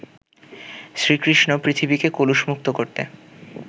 শ্রীকৃষ্ণ পৃথিবীকে কলুষমুক্ত করতে